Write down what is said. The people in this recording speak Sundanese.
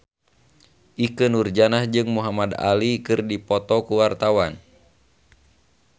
Ikke Nurjanah jeung Muhamad Ali keur dipoto ku wartawan